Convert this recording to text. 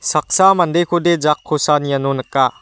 saksa mandekode jakkosan iano nika.